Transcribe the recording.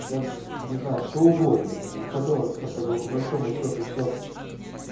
да не знаю что угодно у которых по большому счёту всё